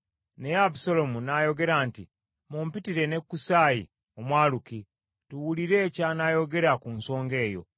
Naye Abusaalomu n’ayogera nti, “Mumpitire ne Kusaayi Omwaluki, tuwulire ky’anaayogera ku nsonga eyo.”